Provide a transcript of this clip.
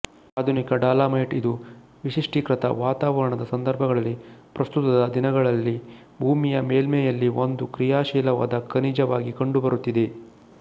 ಆಧುನಿಕ ಡಾಲಮೈಟ್ ಇದು ವಿಶಿಷ್ಟೀಕೃತ ವಾತಾವರಣದ ಸಂದರ್ಭಗಳಲ್ಲಿ ಪ್ರಸ್ತುತದ ದಿನಗಳಲ್ಲಿ ಭೂಮಿಯ ಮೇಲ್ಮೈಯಲ್ಲಿ ಒಂದು ಕ್ರಿಯಾಶೀಲವಾದ ಖನಿಜವಾಗಿ ಕಂಡುಬರುತ್ತಿದೆ